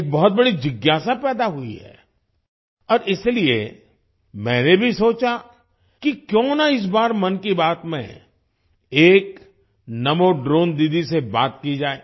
एक बहुत बड़ी जिज्ञासा पैदा हुई है और इसीलिए मैंने भी सोचा कि क्यों ना इस बार मन की बात में एक नमो ड्रोन दीदी से बात की जाए